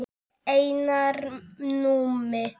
Einar Númi.